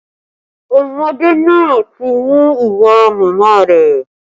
Ọmọdé náà ti mú ìwà màmá rẹ